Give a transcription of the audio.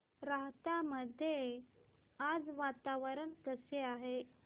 राहता मध्ये आज वातावरण कसे आहे